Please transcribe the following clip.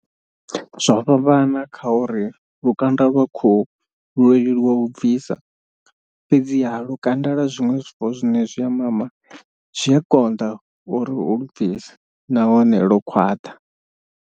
Zwo fhambana kha uri lukanda lwa khou lwo leluwa u bvisa fhedziha lukanda lwa zwiṅwe zwifuwo zwine zwi a mama zwi a konḓa uri u lu bvisa nahone lwo khwaṱha.